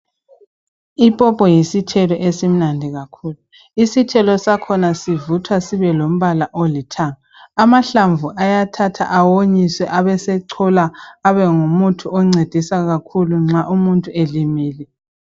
Ipopo yisithelo esimnandi. kakhulu, isithelo sakhona sivuthwa sibelombala olithanga. Amahlamvu ayathathwa awonyiswe abese cholwa abe ngumuthi oncedisa kakhulu nxa umuntu elimele.